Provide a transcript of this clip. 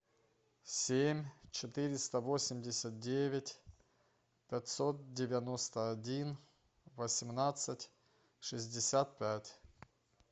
семь четыреста восемьдесят девять пятьсот девяносто один восемнадцать шестьдесят пять